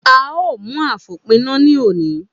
A ó mú afopina ní òní.